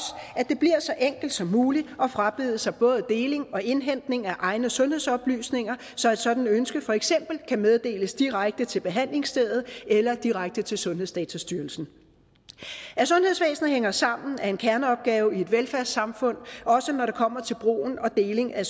at det bliver så enkelt som muligt at frabede sig både deling og indhentning af egne sundhedsoplysninger så et sådant ønske for eksempel kan meddeles direkte til behandlingsstedet eller direkte til sundhedsdatastyrelsen at sundhedsvæsenet hænger sammen er en kerneopgave i et velfærdssamfund også når det kommer til brug og deling af